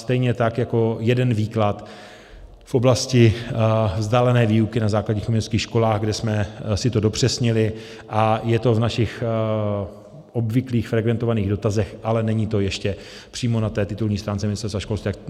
Stejně tak jako jeden výklad v oblasti vzdálené výuky na základních uměleckých školách, kde jsme si to dopřesnili, a je to v našich obvyklých frekventovaných dotazech, ale není to ještě přímo na té titulní stránce Ministerstva školství.